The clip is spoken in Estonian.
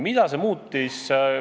Mida see muutis?